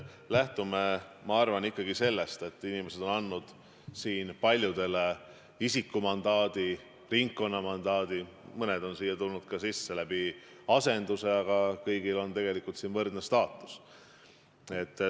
Lähtume, ma arvan, ikkagi sellest, et inimesed on andnud siin paljudele isikumandaadi, on andnud ringkonnamandaadi, mõned on tulnud siia ka asendusliikmena, aga kõigil on siin võrdne staatus.